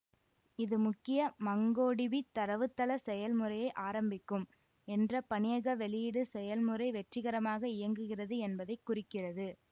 இது முக்கிய மங்கோடிபி தரவுத்தள செயல்முறையை ஆரம்பிக்கும் என்ற பணியக வெளியீடு செயல்முறை வெற்றிகரமாக இயங்குகிறது என்பதை குறிக்கிறது